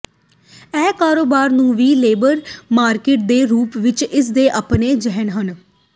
ਇਹ ਕਾਰੋਬਾਰ ਨੂੰ ਵੀ ਲੇਬਰ ਮਾਰਕੀਟ ਦੇ ਰੂਪ ਵਿੱਚ ਇਸ ਦੇ ਆਪਣੇ ਿਜਹਨ ਹਨ